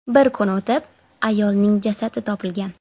Bir kun o‘tib, ayolning jasadi topilgan.